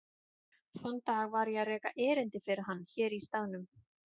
Þann dag var ég að reka erindi fyrir hann hér í staðnum.